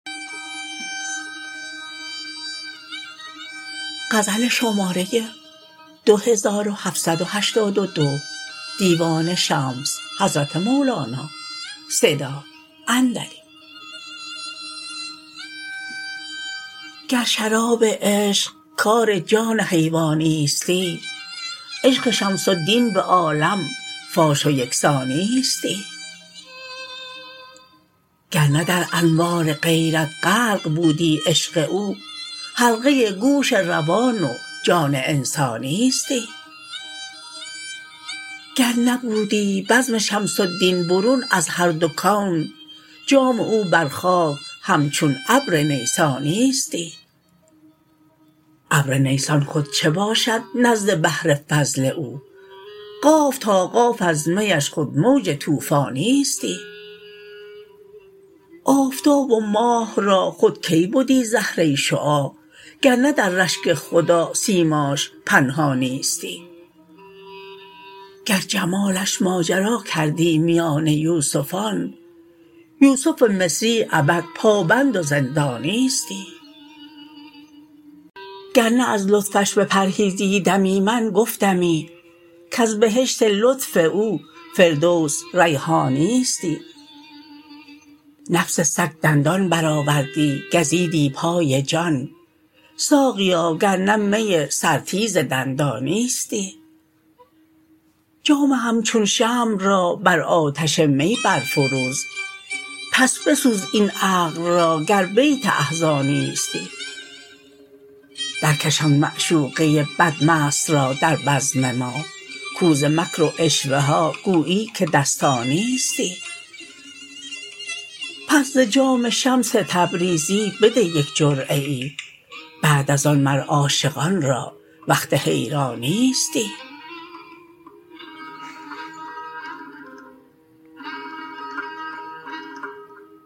گر شراب عشق کار جان حیوانیستی عشق شمس الدین به عالم فاش و یک سانیستی گر نه در انوار غیرت غرق بودی عشق او حلقه گوش روان و جان انسانیستی گر نبودی بزم شمس الدین برون از هر دو کون جام او بر خاک همچون ابر نیسانیستی ابر نیسان خود چه باشد نزد بحر فضل او قاف تا قاف از میش خود موج طوفانیستی آفتاب و ماه را خود کی بدی زهره شعاع گر نه در رشک خدا سیماش پنهانیستی گر جمالش ماجرا کردی میان یوسفان یوسف مصری ابد پابند و زندانیستی گر نه از لطفش بپرهیزیدمی من گفتمی کز بهشت لطف او فردوس ریحانیستی نفس سگ دندان برآوردی گزیدی پای جان ساقیا گر نه می سرتیز دندانیستی جام همچون شمع را بر آتش می برفروز پس بسوز این عقل را گر بیت احزانیستی درکش آن معشوقه بدمست را در بزم ما کو ز مکر و عشوه ها گوییی که دستانیستی پس ز جام شمس تبریزی بده یک جرعه ای بعد از آن مر عاشقان را وقت حیرانیستی